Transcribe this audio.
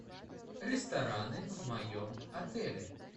рестораны в моем отеле